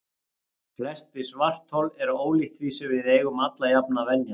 Flest við svarthol er ólíkt því sem við eigum alla jafna að venjast.